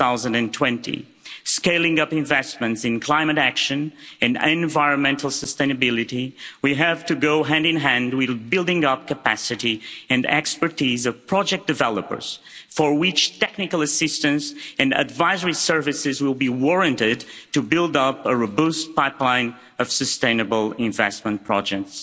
2020. Scaling up investments in climate action and environmental sustainability will have to go hand in hand with building up capacity and expertise of project developers, for which technical assistance and advisory services will be warranted to build up a robust pipeline of sustainable investment projects.